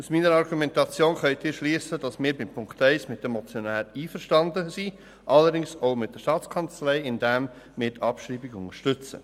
Aus meiner Argumentation können Sie schliessen, dass wir bei Punkt 1 mit den Motionären einverstanden sind, allerdings auch mit der Staatskanzlei, indem wir die Abschreibung unterstützen.